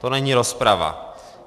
To není rozprava.